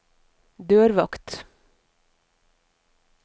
dørvakt